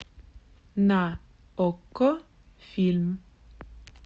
на окко фильм